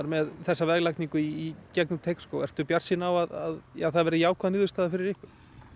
með þessa veglagningu í gegnum Teigsskóg ertu bjartsýn á að það verði jákvæð niðurstaða fyrir ykkur